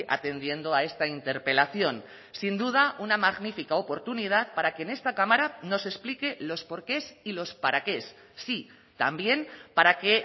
atendiendo a esta interpelación sin duda una magnífica oportunidad para que en esta cámara nos explique los porqués y los paraqués sí también para qué